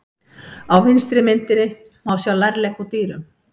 Á vinstri myndinni má sjá lærlegg úr dýrum.